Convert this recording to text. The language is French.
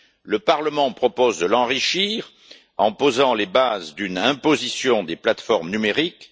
Le Parlement propose de l'enrichir, en posant les bases d'une imposition des plateformes numériques.